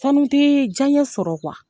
Sanu tɛ diyaɲɛ sɔrɔ